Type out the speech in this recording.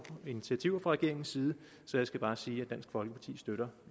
initiativer fra regeringens side så jeg skal bare sige at dansk folkeparti støtter